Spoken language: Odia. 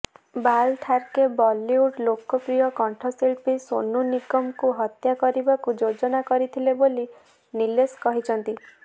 ବାଲ୍ ଠାକ୍ରେ ବଲିଉଡ୍ର ଲୋକପ୍ରିୟ କଣ୍ଠଶିଳ୍ପୀ ସୋନୁ ନିଗମଙ୍କୁ ହତ୍ୟା କରିବାକୁ ଯୋଜନା କରୁଥିଲେ ବୋଲି ନିଲେଶ କହିଛନ୍ତି